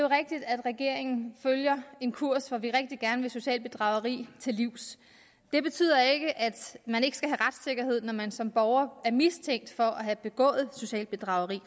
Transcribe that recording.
rigtigt at regeringen følger en kurs hvor vi rigtig gerne det sociale bedrageri til livs det betyder ikke at man når man som borger er mistænkt for at have begået socialt bedrageri